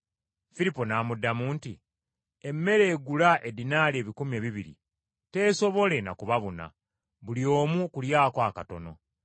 Firipo n’amuddamu nti, “Emmere egula eddinaali ebikumi ebibiri teesobole na kubabuna, buli omu okulyako akatono.”